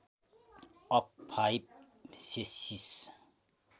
of five सेँसिस